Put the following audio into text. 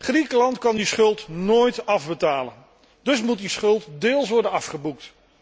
Griekenland kan die schuld nooit afbetalen, en dus moet die schuld deels worden afgeboekt.